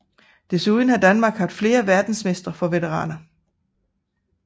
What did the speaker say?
Desuden har Danmark haft flere Verdensmestre for veteraner